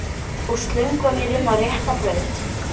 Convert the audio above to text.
Og slöngva mér inn á rétta braut.